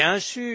bien sûr,